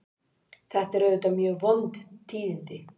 Þetta eru auðvitað mjög vond tíðindi